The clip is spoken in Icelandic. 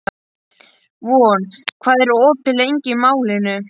Von, hvað er opið lengi í Málinu?